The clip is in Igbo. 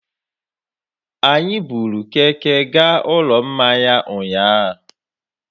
Anyị buru Keke gaa Ụlọ Mmanya ụnyahụ.